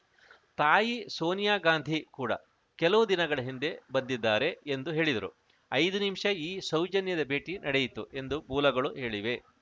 ತಾಯಿ ಸೋನಿಯಾ ಗಾಂಧಿ ಕೂಡ ಕೆಲವು ದಿನಗಳ ಹಿಂದೆ ಬಂದಿದ್ದಾರೆ ಎಂದು ಹೇಳಿದರು ಐದು ನಿಮಿಷ ಈ ಸೌಜನ್ಯದ ಭೇಟಿ ನಡೆಯಿತು ಎಂದು ಮೂಲಗಳು ಹೇಳಿವೆ